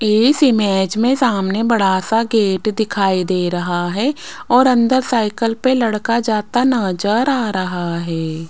इस इमेज में सामने बड़ा सा गेट दिखाई दे रहा है और अंदर साइकिल पे लड़का जाता नजर आ रहा है।